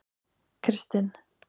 Kristin